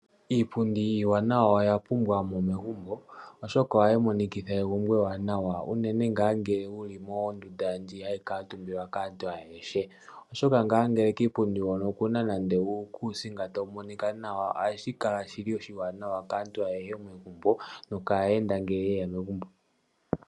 Iipundi iiwanawa oya pumbiwa mo megumbo, oshoka ohayi monikitha egumbo ewanawa, unene ngaa ngele wuli mondundu ndji hayi kuutumbwa kaantu ayehe, oshoka ngele kiipundi hono okuna nande uukusinga tawu monika nawa, ohashi kala shili oshiwanawa kaantu ayehe megumbo nokaayenda ngele ye ya megumbo.